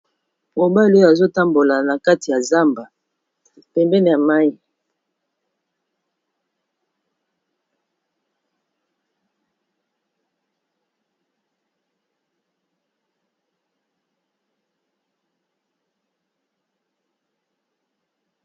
Mobali azo tambola na kati ya zamba pembeni ya mayi.